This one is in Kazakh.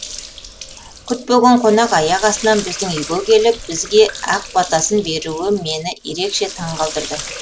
күтпеген қонақ аяқ астынан біздің үйге келіп бізге ақ батасын беруі мені ерекше таңқалдырды